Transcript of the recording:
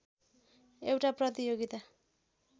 एउटा प्रतियोगिता